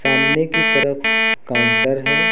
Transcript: सामने की तरफ काउंटर है।